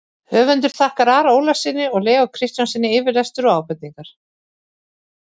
Höfundur þakkar Ara Ólafssyni og Leó Kristjánssyni yfirlestur og ábendingar.